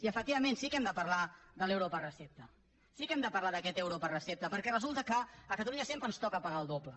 i efectivament sí que hem de parlar de l’euro per recepta sí que hem de parlar d’aquest euro per recepta perquè resulta que a catalunya sempre ens toca pagar el doble